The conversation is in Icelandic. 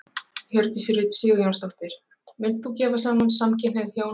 Hjördís Rut Sigurjónsdóttir: Munt þú gefa saman samkynhneigð hjón?